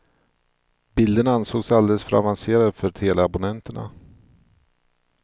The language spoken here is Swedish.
Bilderna ansågs alldeles för avancerade för teleabonnenterna.